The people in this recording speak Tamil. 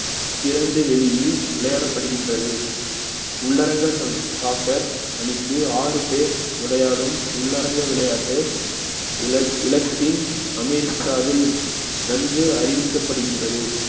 திறந்து வெளியில் விளையாடப்படுகின்றது உள்ளரங்கள் socc~ soccer மணிக்கு ஆறு பேர் விளையாடும் உள்ளரங்க விளையாட்டு இல~ இலத்தீன் அமெரிக்காவில் நன்கு அறிவிக்கப்படுகின்றது